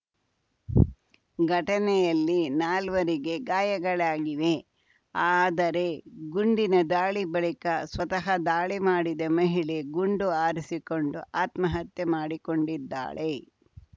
ಘಟನೆಯಲ್ಲಿ ನಾಲ್ವರಿಗೆ ಗಾಯಗಳಾಗಿವೆ ಆದರೆ ಗುಂಡಿನ ದಾಳಿ ಬಳಿಕ ಸ್ವತಃ ದಾಳಿ ಮಾಡಿದ ಮಹಿಳೆ ಗುಂಡು ಹಾರಿಸಿಕೊಂಡು ಆತ್ಮಹತ್ಯೆ ಮಾಡಿಕೊಂಡಿದ್ದಾಳೆ